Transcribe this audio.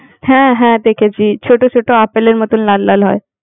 হ্যাঁ, হ্যাঁ দেখেছি, ছোট ছোট আপেলের মতো লাল লাল হয়।